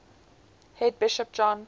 head bishop john